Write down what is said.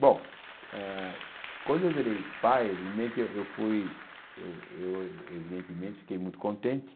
Bom, ah quando eu virei pai, vimente eh eu fui, eu eu evidentemente fiquei muito contente.